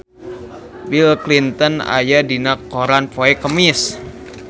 Bill Clinton aya dina koran poe Kemis